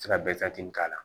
Se ka k'a la